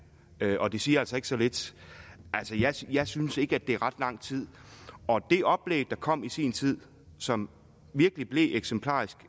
og det siger altså ikke så lidt jeg synes ikke at det er ret lang tid og det oplæg der kom i sin tid som virkelig blev eksemplarisk